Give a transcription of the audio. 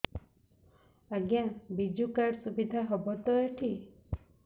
ଆଜ୍ଞା ବିଜୁ କାର୍ଡ ସୁବିଧା ହବ ତ ଏଠି